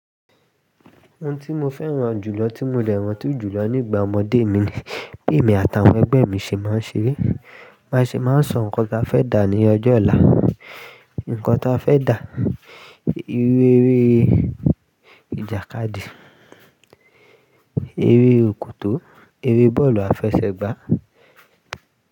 Ohun tí mo fẹ́ràn jù lọ, tí mo de ranti jù lọ nígbà ọmọdé mi. Bi èmi àti àwọn ẹgbẹ́ mi ṣe máa ń ere, ba ṣe máa ń sọ nǹkan tí a fẹ́ dà ní ọjọ́ ọ̀la. Nǹkan tí a fẹ́ dà, iru-eré ìjàkadì, eré òkòtó, eré bọ́ọ̀lù àfẹsẹ̀gbá.